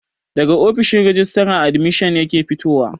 Daga ofishin rajistara admishin yake fitowa